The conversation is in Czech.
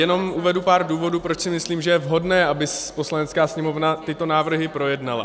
Jenom uvedu pár důvodů, proč si myslím, že je vhodné, aby Poslanecká sněmovna tyto návrhy projednala.